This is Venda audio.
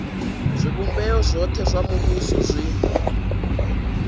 zwivhumbeo zwothe zwa muvhuso zwi